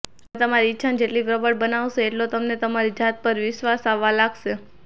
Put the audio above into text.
તમે તમારી ઈચ્છાને જેટલી પ્રબળ બનાવશો એટલો તમને તમારી જાત પર વિશ્વાસ આવવા લાગશે